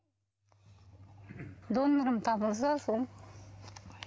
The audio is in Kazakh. донорым табылса сол